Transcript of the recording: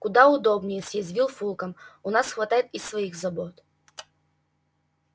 куда удобнее съязвил фулкам у нас хватает и своих забот